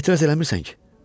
Etiraz eləmirsən ki?